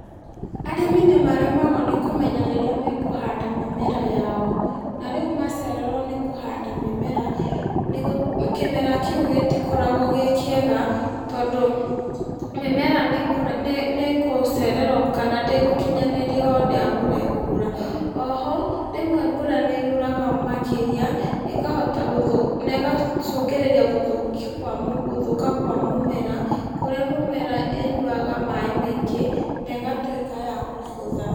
Arĩmi nĩmaremagwo nĩkũmenya rĩrĩa mekũhanda mĩmera yao, na rĩu macererwo nĩkũhanda mĩmera nĩgũ, kĩmera kĩu gĩtikoragwo gĩ kĩega, tondũ mĩmera nĩkũ nĩkũcererwo kana ndĩgũkinyanĩria ũrĩa mbura ĩkura, oho, rĩmwe mbura nĩyuraga makĩria, ĩkahota gũthũ negacũngĩrĩria gũthũkia kwa gũthũka kwa mũmera, kũrĩa mĩmera ĩnyuaga maĩ maingĩ, negatwĩka ya kũbutha.